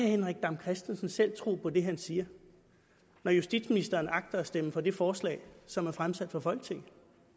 henrik dam kristensen selv tro på det han siger når justitsministeren agter at stemme for det forslag som er fremsat for folketinget